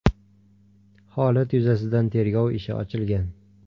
Holat yuzasidan tergov ishi ochilgan.